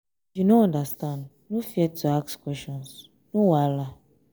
if you no understand no fear to ask questions no wahala.